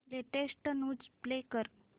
latest news play कर